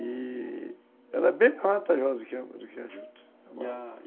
e ela é bem mais vantajosa do que a juta, e a